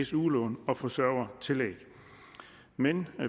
su lån og forsørgertillæg men